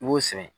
I b'o sɛgɛn